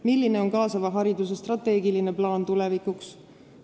Milline on kaasava hariduse strateegiline plaan tulevikuks?